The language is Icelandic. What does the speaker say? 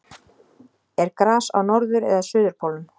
er gras á norður eða suðurpólnum